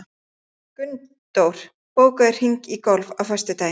Gunndór, bókaðu hring í golf á föstudaginn.